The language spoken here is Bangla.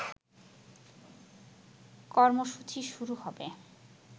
কর্মসূচি শুরু হবে